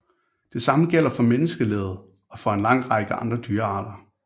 Det samme gælder for menneskelivet og for en lang række andre dyrearter